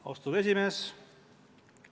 Austatud esimees!